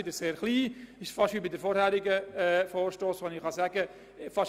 Hier verhält es sich fast gleich wie beim vorangegangenen Vorstoss: